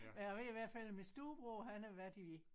Men jeg ved i hvert fald at min storebror han har været i